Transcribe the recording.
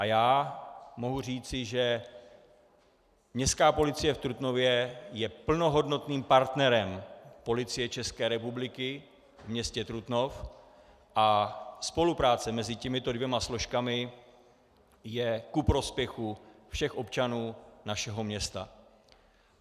A já mohu říci, že Městská policie v Trutnově je plnohodnotným partnerem Policie České republiky v městě Trutnov a spolupráce mezi těmito dvěma složkami je ku prospěchu všech občanů našeho města.